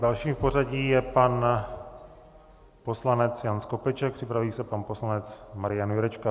Dalším v pořadí je pan poslanec Jan Skopeček, připraví se pan poslanec Marian Jurečka.